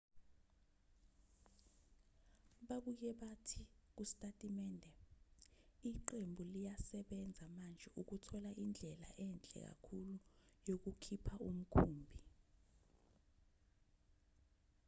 babuye bathi kusitatimende iqembu liyasebenza manje ukuthola indlela enhle kakhulu yokukhipha umkhumbi